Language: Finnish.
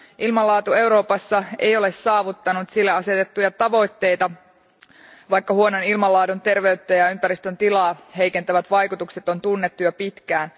Ilmanlaatu Euroopassa ei ole saavuttanut sille asetettuja tavoitteita, vaikka huonon ilmanlaadun terveyttä ja ympäristön tilaa heikentävät vaikutukset on tunnettu jo pitkään.